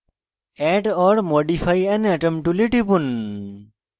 add or modify an atom tool টিপুন